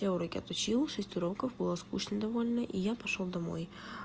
я уроки отучил шесть уроков было скучно довольно и я пошёл домой